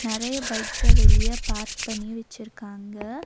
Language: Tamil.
நெறைய பைக்ஸ்ஸ வெளிய பார்க் பண்ணி வெச்சிருக்காங்க.